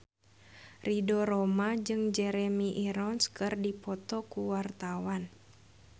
Ridho Roma jeung Jeremy Irons keur dipoto ku wartawan